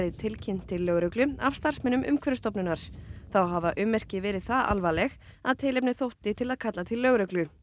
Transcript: tilkynnt til lögreglu af starfsmönnum Umhverfisstofnunar þá hafa ummerki verið það alvarleg að tilefni þótti til að kalla til lögreglu